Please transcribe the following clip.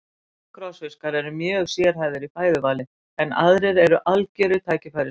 Sumir krossfiskar eru mjög sérhæfðir í fæðuvali en aðrir eru algjörir tækifærissinnar.